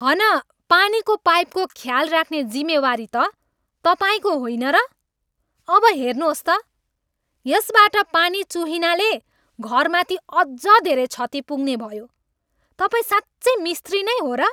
हन पानीको पाइपको ख्याल राख्ने जिम्मेवारी त तपाईँको होइन र? अब हेर्नुहोस् त, यसबाट पानी चुहिनाले घरमाथि अझ धेरै क्षति पुग्ने भयो! तपाईँ साँच्चै मिस्त्री नै हो र?